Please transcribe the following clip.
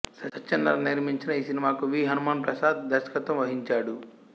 సత్యనారాయణ నిర్మించిన ఈ సినిమాకు వి హనుమాన్ ప్రసాద్ దర్శకత్వం వహించాడు